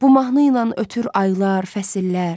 Bu mahnı ilə ötür aylar, fəsillər.